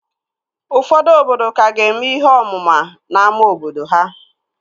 Ụfọdụ obodo ka ga-eme ihe ọmụma n'ámá obodo ha